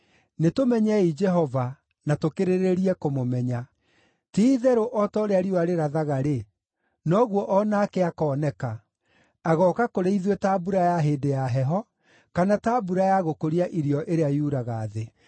Nĩtũmenyei Jehova, na tũkĩrĩrĩrie kũmũmenya. Ti-itherũ o ta ũrĩa riũa rĩrathaga-rĩ, noguo o nake akooneka; agooka kũrĩ ithuĩ ta mbura ya hĩndĩ ya heho, kana ta mbura ya gũkũria irio ĩrĩa yuraga thĩ.”